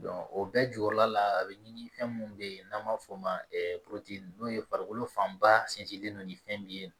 o bɛɛ jukɔrɔla la a bɛ ɲini fɛn minnu bɛ yen n'an b'a fɔ o ma n'o ye farikolo fanba sinsinlen don ni fɛn min ye